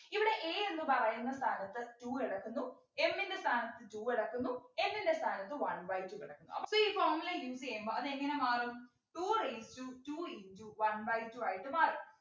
ഇവിടെ A എന്നു പറയുന്ന സ്ഥാനത്ത് two കിടക്കുന്നു M ൻ്റെ സ്ഥാനത്ത് two കിടക്കുന്നു n ൻ്റെ സ്ഥാനത്ത് one by two കിടക്കുന്നു അപ്പോ ഈ formula use ചെയ്യുമ്പോ അതെങ്ങനെ മാറും two raised to two into one by two ആയിട്ട് മാറും